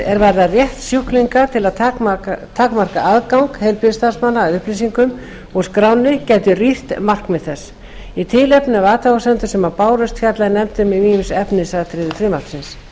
er varða rétt sjúklinga til að takmarka aðgang heilbrigðisstarfsmanna að upplýsingum úr skránni gætu rýrt markmið þess í tilefni af athugasemdum sem bárust fjallaði nefndin um ýmis efnisatriði frumvarpsins